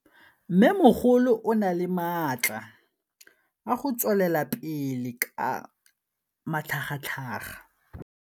Mmêmogolo o na le matla a go tswelela pele ka matlhagatlhaga.